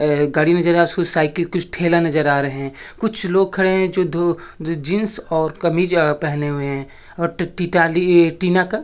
ए गाड़ी में जरा सु साइकिल कुछ ठेला नजर आ रहे है कुछ लोग खड़े हैजो दो जीन्स और कमीज पेहने हुए है और टी-टाली टीना का--